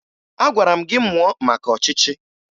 Agwara m gị mụo maka ọchịchị!